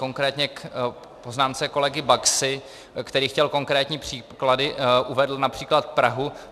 Konkrétně k poznámce kolegy Baxy, který chtěl konkrétní příklady, uvedl například Prahu.